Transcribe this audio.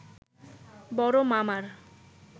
বড় মামার